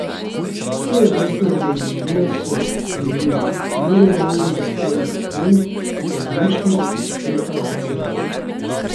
Svojevrstna ideologija so, denimo, nerealne zahteve Aten po nemških reparacijah.